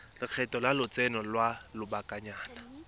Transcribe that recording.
lekgetho la lotseno lwa lobakanyana